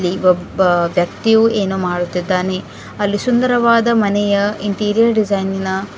ಈ ಒಬ್ಬ ವ್ಯಕ್ತಿಯು ಏನೋ ಮಾಡುತ್ತಿದ್ದಾನೆ ಅಲ್ಲಿ ಸುಂದರವಾದ ಮನೆಯ ಇಂಟಿರಿಯರ್ ಡಿಸೈನ್ ನಾ --